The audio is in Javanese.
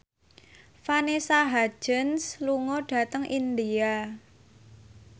Vanessa Hudgens lunga dhateng India